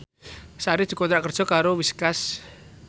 Sari dikontrak kerja karo Whiskas